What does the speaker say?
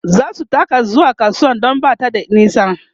zasu taka zuwa kasuwar Dan Bata da nisa